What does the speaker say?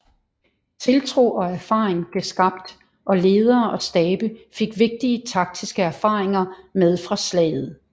Tiltro og erfaring blev skabt og ledere og stabe fik vigtige taktiske erfaringer med fra slaget